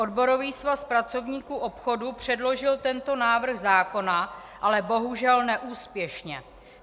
Odborový svaz pracovníků obchodu předložil tento návrh zákona, ale bohužel neúspěšně.